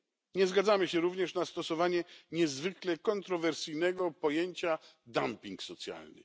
Nie zgadzamy się również na stosowanie niezwykle kontrowersyjnego pojęcia dumping socjalny.